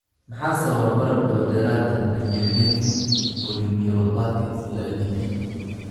Maxaa sababa barar dabadheeraad ah demyelinating polyneuropathy (CIDP)?